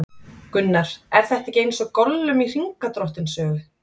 Gunnar: Er þetta ekki eins og Gollum í Hringadróttinssögu?